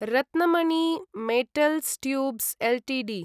Ratnamani Metals Tubes Ltd